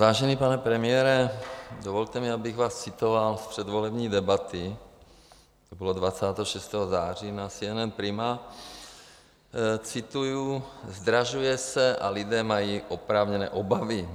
Vážený pane premiére, dovolte mi, abych vás citoval z předvolební debaty, to bylo 26. září, na CNN Prima, cituji: "Zdražuje se a lidé mají oprávněné obavy.